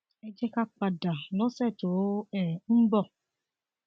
ẹ jẹ ká pàdé lọsẹ tó um ń bọ